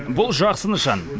бұл жақсы нышан